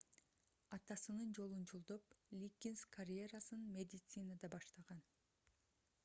атасынын жолун жолдоп лиггинс карьерасын медицинада баштаган